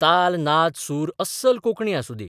ताल नाद सूर अस्सल कोंकणी आसुं दी.